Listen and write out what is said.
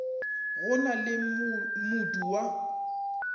gona le ge modu wa